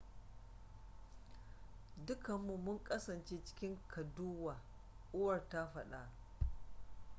dukanmu mun kasance cikin kaɗuwa uwar ta faɗa